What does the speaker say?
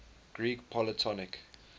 greek polytonic